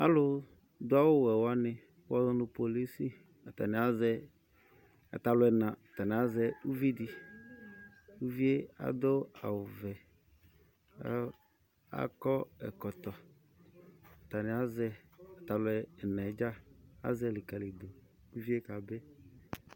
Alʋdʋ awʋwɛ wanɩ kʋ wʋazɔ nʋ polisi atanɩ azɛ, ata alʋ ɛna, atanɩ azɛ uvi dɩ. Uvii yɛ adʋ awʋvɛ kʋ akɔ ɛkɔtɔ. Atanɩ azɛ yɩ, ata alʋ ɛna yɛ dza. Azɛ yɩ likǝlidu kʋ uvi yɛ kabɩ.